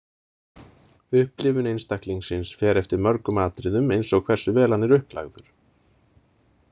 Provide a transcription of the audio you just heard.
Upplifun einstaklingsins fer eftir mörgum atriðum eins og hversu vel hann er upplagður.